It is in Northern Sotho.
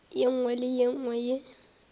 nngwe le ye nngwe ye